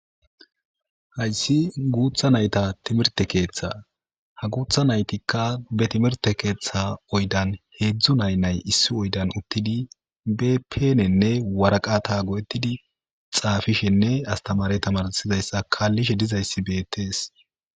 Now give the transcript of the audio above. Hayssi guutha nayta timirte keeththa ha guutha naytikka be timirte keeththa oydan heedzdzu naynay issi oydan uttidi bepenenne waraqa tago'ettidi xaafishenne astamare tamarsizayssa kaallishe dizayssi beettees.